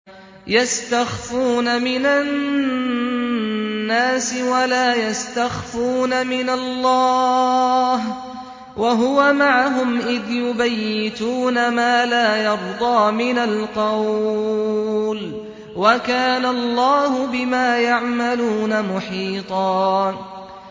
يَسْتَخْفُونَ مِنَ النَّاسِ وَلَا يَسْتَخْفُونَ مِنَ اللَّهِ وَهُوَ مَعَهُمْ إِذْ يُبَيِّتُونَ مَا لَا يَرْضَىٰ مِنَ الْقَوْلِ ۚ وَكَانَ اللَّهُ بِمَا يَعْمَلُونَ مُحِيطًا